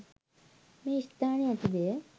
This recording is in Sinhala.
මේ ස්ථානයේ ඇති දෙය